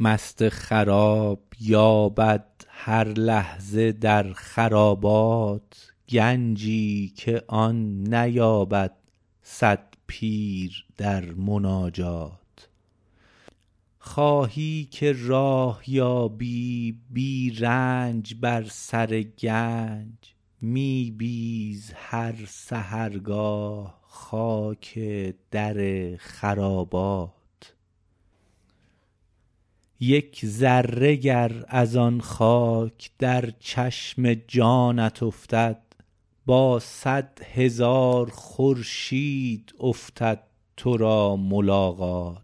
مست خراب یابد هر لحظه در خرابات گنجی که آن نیابد صد پیر در مناجات خواهی که راه یابی بی رنج بر سر گنج می بیز هر سحرگاه خاک در خرابات یک ذره گرد از آن خاک در چشم جانت افتد با صدهزار خورشید افتد تو را ملاقات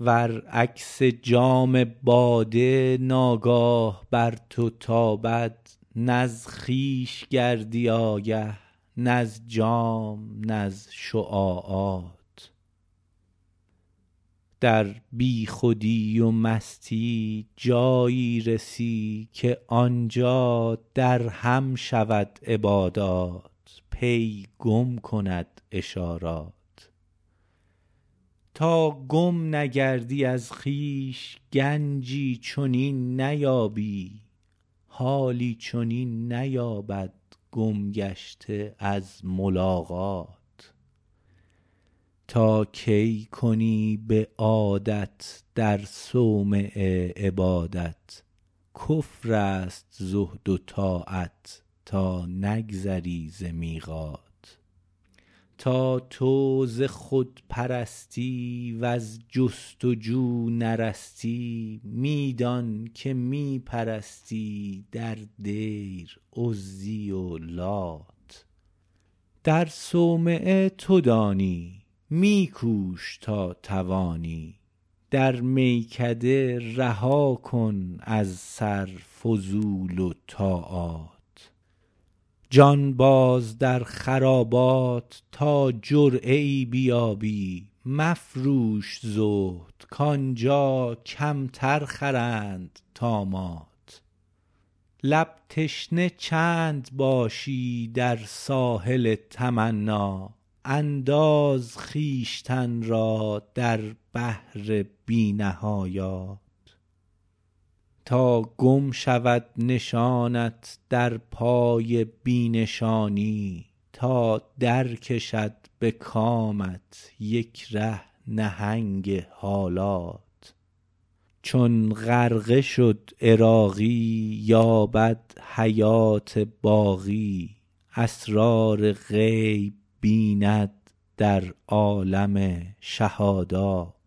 ور عکس جام باده ناگاه بر تو تابد نز خویش گردی آگه نز جام نز شعاعات در بیخودی و مستی جایی رسی که آنجا در هم شود عبادات پی گم کند اشارات تا گم نگردی از خود گنجی چنین نیابی حالی چنین نیابد گم گشته از ملاقات تا کی کنی به عادت در صومعه عبادت کفر است زهد و طاعت تا نگذری ز میقات تا تو ز خودپرستی وز جست وجو نرستی می دان که می پرستی در دیر عزی و لات در صومعه تو دانی می کوش تا توانی در میکده رها کن از سر فضول و طامات جان باز در خرابات تا جرعه ای بیابی مفروش زهد کانجا کمتر خرند طامات لب تشنه چند باشی در ساحل تمنی انداز خویشتن را در بحر بی نهایات تا گم شود نشانت در پای بی نشانی تا در کشد به کامت یک ره نهنگ حالات چون غرقه شد عراقی یابد حیات باقی اسرار غیب بیند در عالم شهادات